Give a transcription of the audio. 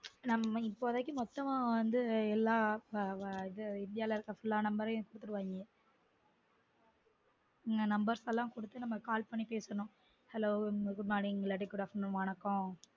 நம்ம இப்போதைக்கு மொத்தமா வந்து எல்லா அது அது~ அது இந்தியா ல இருக்குற fullnumber யும் குடுத்துருவாங்க உம் numbers எல்லான் குடுத்து call பண்ணி கேக்கனும் hello good morning இல்லனா good afternoon வணக்கம்